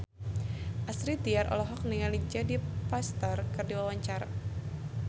Astrid Tiar olohok ningali Jodie Foster keur diwawancara